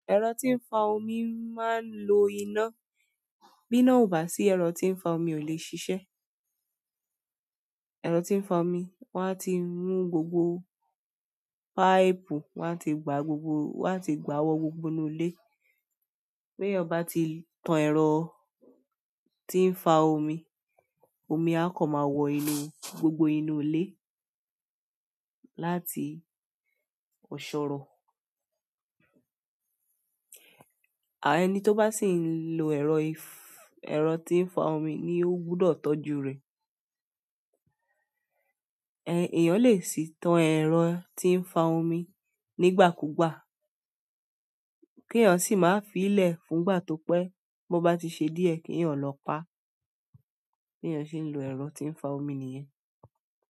Ẹ̀rọ tí ń fa omi máa ń lo iná. Bí iná ò bá sí, ẹ̀rọ tí ń fa omi ò lè ṣiṣẹ́. Ero ti n fa omi won a ti ru gbogbo páìpù, wọn ti gbà gbogbo, wọn ti gbà owó gbogbo inú ilé. Bí ẹ́yàn bá ti tan ẹ̀rọ tí ń fa omi, omi á kọ́ máa wọ inú, gbogbo inú ilé láti ọ̀ṣọ́rọ̀. À- ẹni tó bá sì ń lo ẹ̀rọ if- ẹ̀rọ tí ń fa omi ni ó gbúdọ̀ tọ́jú rẹ̀. Ẹ́n- èèyàn lè sì tan ẹ̀rọ tí ń fa omi nígbà kúgbà, kí èèyàn sì máa fi í lẹ̀ fún ìgbà tó pẹ́. Bí wọ́n bá ti ṣe díẹ̀, kí èèyàn lọ pa. Bí èèyàn se ń lo ẹ̀rọ tí ń fa omi nìyẹn.